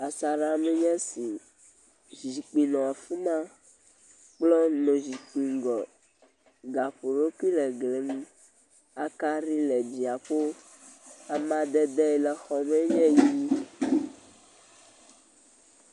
Asaɖemee nye esi. Zikpui nɔ afi ma. Kplɔ nɔ zikpui ŋgɔ. Gaƒoɖokui le gli nu. Akaɖi le dziaƒo. Amadede yi le xɔmee nye ʋi.